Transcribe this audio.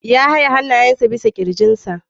Ya haye hannayensa bisa kirjinsa.